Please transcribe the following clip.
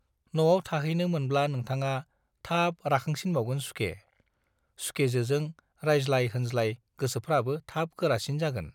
न'आव थाहैनो मोनब्ला नोंथाङा थाब राखांसिनबावगोन सुखे, सुखेजोजों रायज्लाय-होनज्लाय गोसोफ्राबो थाब गोरासिन जागोन।